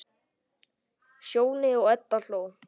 Sjóni og Edda hló.